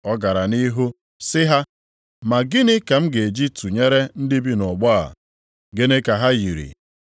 Ọ gara nʼihu sị ha, “Ma gịnị ka m ga-eji tụnyere ndị bi nʼọgbọ a? Gịnị ka ha yiri?